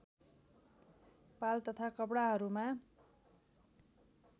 पाल तथा कपडाहरूमा